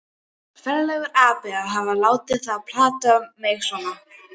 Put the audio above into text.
Ferlegur api að hafa látið þá plata mig svona.